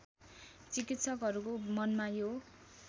चिकित्सकहरूको मनमा यो